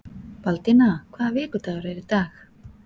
Baldína, hvaða vikudagur er í dag?